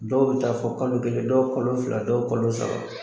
Dɔw bɛ taa fɔ kalo kelen dɔw kolo fila dɔw kolo saba.